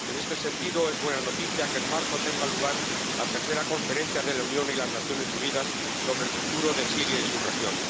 En este sentido, es buena noticia que en marzo tenga lugar la tercera Conferencia de la Unión y las Naciones Unidas sobre el futuro de Siria y su región.